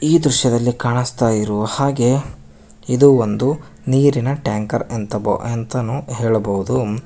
ಈ ದೃಶ್ಯದಲ್ಲಿ ಕಾಣಿಸ್ತಾ ಇರೋ ಹಾಗೆ ಇದು ಒಂದು ನೀರಿನ ಟ್ಯಾಂಕರ್ ಅಂಥ ಅಂತಾನು ಹೇಳಬಹುದು.